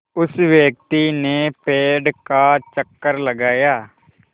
उस व्यक्ति ने पेड़ का चक्कर लगाया